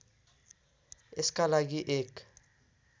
यसका लागि एक